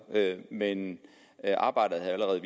men arbejdet har allerede